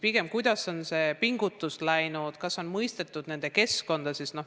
Pigem kirjeldage, kuidas on lapse pingutus läinud, kas on mõistetud nende keskkonda.